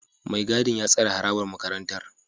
Mai gadin ya tsare harabar makarantar